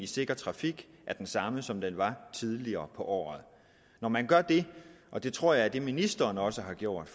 sikker trafik er den samme som den var tidligere på året når man gør det og det tror jeg er det ministeren også har gjort